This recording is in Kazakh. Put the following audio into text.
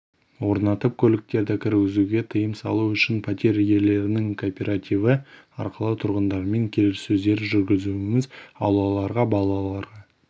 орнатып көліктерді кіргізуге тыйым салу үшін пәтер иелерінің кооперативі арқылы тұрғындармен келіссөздер жүргізудеміз аулаларға балаларға